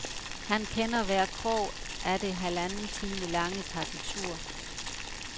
Han kender hver krog af det halvanden time lange partitur.